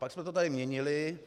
Pak jsme to tady měnili.